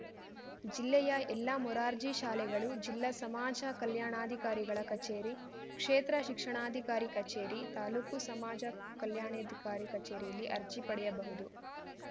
ಜಿಲ್ಲೆಯ ಎಲ್ಲಾ ಮೊರಾರ್ಜಿ ಶಾಲೆಗಳು ಜಿಲ್ಲಾ ಸಮಾಜ ಕಲ್ಯಾಣಾಧಿಕಾರಿಗಳ ಕಚೇರಿ ಕ್ಷೇತ್ರ ಶಿಕ್ಷಣಾಧಿಕಾರಿ ಕಚೇರಿ ತಾಲೂಕು ಸಮಾಜ ಕಲ್ಯಾಣಾಧಿಕಾರಿ ಕಚೇರಿಯಲ್ಲಿ ಅರ್ಜಿ ಪಡೆಯಬಹುದು